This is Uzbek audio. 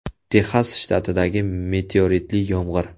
Texas shtatidagi meteoritli yomg‘ir.